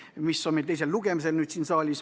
Homme on selle teine lugemine siin saalis.